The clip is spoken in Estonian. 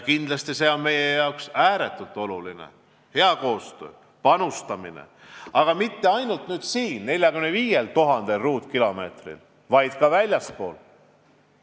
Kindlasti see hea koostöö ja panustamine on meie jaoks ääretult oluline ja mitte ainult siin 45 000 ruutkilomeetril, vaid ka väljaspool.